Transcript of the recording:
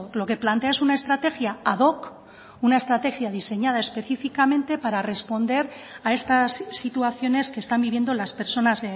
lo que plantea es una estrategia ad hoc una estrategia diseñada específicamente para responder a estas situaciones que están viviendo las personas